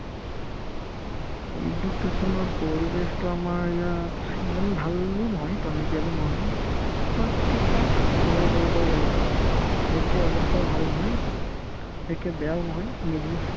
education ৰ পৰিৱেশতো আমাৰ ইয়াত সিমান ভালো নহয় টনকিয়ালো নহয় bas থিক-থাক তেনেকে ক'ব পাৰি আৰু ইয়াতকে অৱস্থাও ভাল নহয় ইয়াতকে বেয়াও নহয় middle